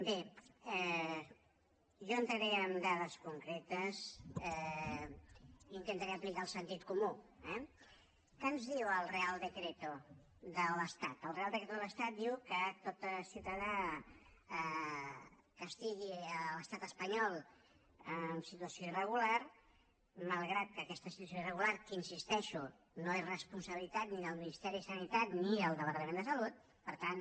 bé jo entraré en dades concretes i intentaré aplicar el sentit comú eh què ens diu el real decretode l’estat diu que tot ciutadà que estigui a l’estat espanyol en situació irregular malgrat que aquesta situació irregular que hi insisteixo no és responsabilitat ni del ministeri de sanitat ni del departament de salut per tant